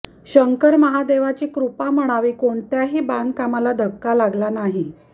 शंकर महादेवाची कृपा म्हणावी कोणत्याही बांधकामाला धक्का लागला नाही